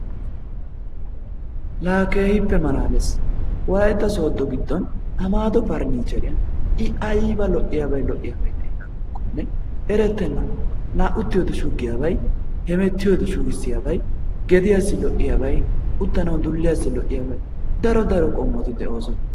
laa keehippe malalees. Wolaytta sodo giddon Amaado pernicheriyaan i ayba lo"iyaabay lo"iyaabay de'iyaakonne erettenna. La uttiyoode shuggiyaabay hemettiyoode shugisiyaabay gediyaasi lo"iyaabay uttanawu dulliyaasi lo"iyaabay daro daro qommoti de'oosona.